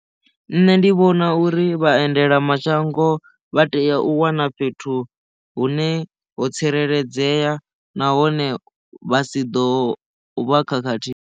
Nṋe ndi vhona uri vha endela mashango vha tea u wana fhethu hune ho tsireledzea nahone vha si ḓo vha khakhathi.